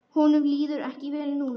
Honum líður ekki vel núna.